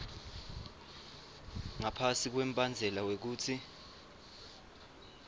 ngaphasi kwembandzela wekutsi